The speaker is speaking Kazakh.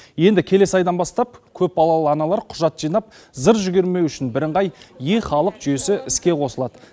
енді келесі айдан бастап көпбалалы аналар құжат жинап зыр жүгірмеуі үшін бірыңғай е халық жүйесі іске қосылады